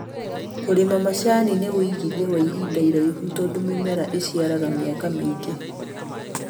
Kũrĩma macani nĩ uigithia wa ihinda rĩraihu tondũ mĩmera ĩciaraga mĩaka mĩingĩ